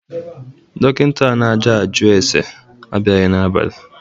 Dọkịnta a na-ajụ ase abịaghị n'abali.